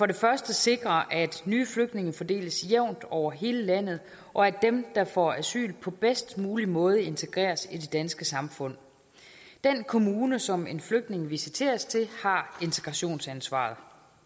det første sikrer at nye flygtninge fordeles jævnt over hele landet og at dem der får asyl på bedst mulig måde integreres i det danske samfund den kommune som en flygtning visiteres til har integrationsansvaret